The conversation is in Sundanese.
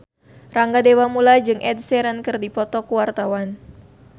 Rangga Dewamoela jeung Ed Sheeran keur dipoto ku wartawan